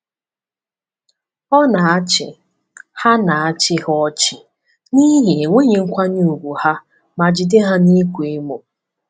Ọ na-achị ha na-achị ha ọchị n’ihi enweghị nkwanye ùgwù ha ma jide ha n’ịkwa emo.